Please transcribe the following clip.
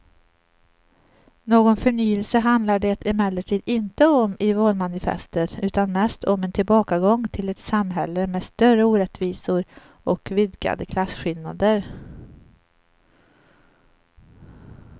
Någon förnyelse handlar det emellertid inte om i valmanifestet utan mest om en tillbakagång till ett samhälle med större orättvisor och vidgade klasskillnader.